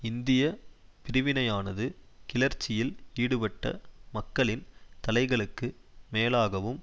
இந்திய பிரிவினையானது கிளர்ச்சியில் ஈடுபட்ட மக்களின் தலைகளுக்கு மேலாகவும்